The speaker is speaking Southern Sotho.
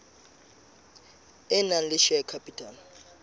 e nang le share capital